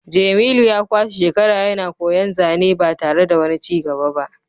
jemilu ya kwashe shekaru yana koyan zane ba tare da wani cigaba ba